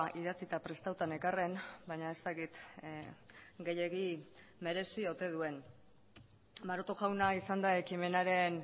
idatzita prestatuta nekarren baina ez dakit gehiegi merezi ote duen maroto jauna izan da ekimenaren